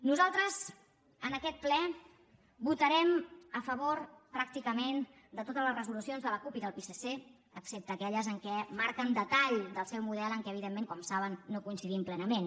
nosaltres en aquest ple votarem a favor pràcticament de totes les resolucions de la cup i del psc excepte aquelles en què marquen detall del seu model en què evidentment com saben no hi coincidim plenament